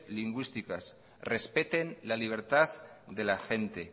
lingüísticas respeten la libertad de la gente